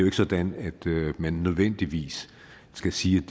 ikke sådan at man nødvendigvis skal sige